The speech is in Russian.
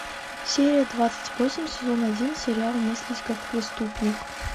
серия двадцать восемь сезон один сериал мыслить как преступник